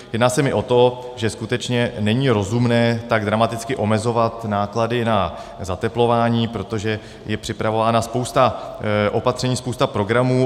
Jedná se mi o to, že skutečně není rozumné tak dramaticky omezovat náklady na zateplování, protože je připravována spousta opatření, spousta programů.